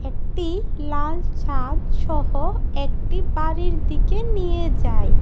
একটি লাল ছাদ সহ একটি বাড়ির দিকে নিয়ে যায়।